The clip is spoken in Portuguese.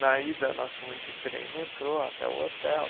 Na ida, nós fomos de trem e metrô até o hotel.